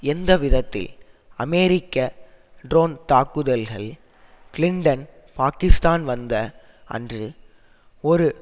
எந்த விதத்தில் அமெரிக்க டிரோன் தாக்குதல்கள் கிளின்டன் பாக்கிஸ்தான் வந்த அன்று ஒரு